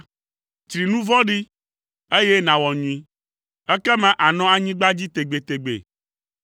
Tsri nu vɔ̃ɖi, eye nàwɔ nyui ekema ànɔ anyigba dzi tegbetegbe.